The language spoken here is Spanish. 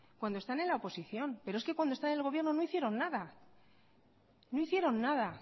cuando están en la oposición pero es que cuando están en el gobierno no hicieron nada no hicieron nada